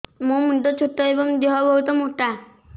ମୋ ମୁଣ୍ଡ ଛୋଟ ଏଵଂ ଦେହ ବହୁତ ମୋଟା